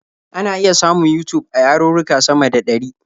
Ana iya samun Yutub a yarurruka sama da ɗari.